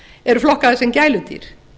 eru flokkaðir sem gæludýr